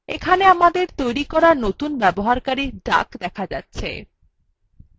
এখানে আমাদের তৈরী করা নতুন ব্যবহারকারী duck দেখা যাচ্ছে